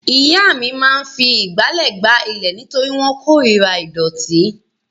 Ìyá mi máa fi ìgbálẹ̀ gbá ilẹ̀ nítorí wọ́n korira ìdọ̀tí.